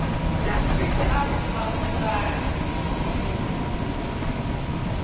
u a goba goba ḽa